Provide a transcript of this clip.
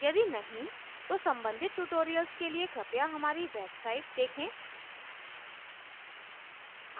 यदि नहीं तो संबंधित tutorials के लिए कृपया हमारी website